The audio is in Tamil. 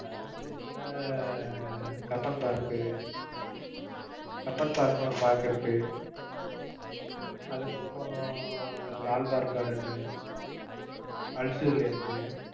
பெங்களூர்ல கப்பன் பார்க் கப்பன் பார்க்னு ஒரு park இருக்கு. அதுக்கு அப்பறம் லால் பார்க் garden அல்சூர் லேக்